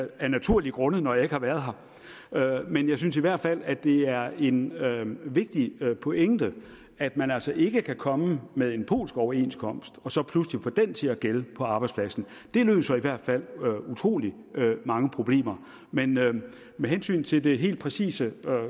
af naturlige grunde når jeg ikke har været her men jeg synes i hvert fald at det er en er en vigtig pointe at man altså ikke kan komme med en polsk overenskomst og så pludselig få den til at gælde på arbejdspladsen det løser i hvert fald utrolig mange problemer men med hensyn til det helt præcise